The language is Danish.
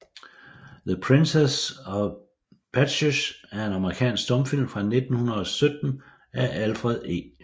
The Princess of Patches er en amerikansk stumfilm fra 1917 af Alfred E